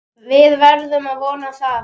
Við erum að vona það.